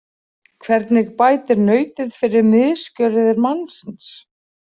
Hvernig bætir nautið fyrir misgjörðir mannsins?